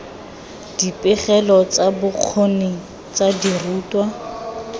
dipegelo tsa bokgoni tsa dirutwa